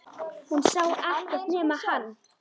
Hún sá ekkert nema hann!